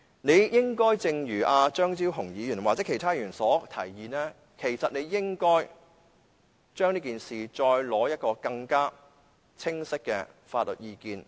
你應該聽取張超雄議員或者其他議員的提議，就此事再取得更清晰的法律意見。